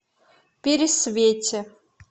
пересвете